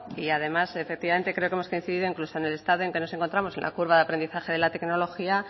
y además efectivamente creo que hemos coincidido incluso en el estado en que nos encontramos en la curva de aprendizaje de la tecnología